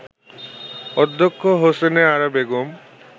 অধ্যক্ষ হোসনে আরা বেগম